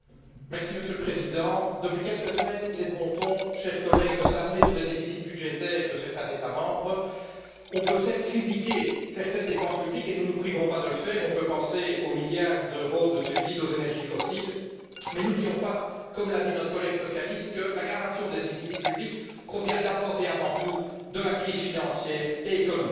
Monsieur le Président, chers collègues, depuis quelques semaines, il est de bon ton de s'alarmer des déficits budgétaires de certains États membres. On peut certes critiquer certaines dépenses publiques et nous ne nous priverons pas de le faire on peut penser aux milliards d'euros de subsides aux énergies fossiles, mais n'oublions pas, comme l'a dit notre collègue socialiste, que l'aggravation des déficits publics provient d'abord et avant tout de la crise financière et économique.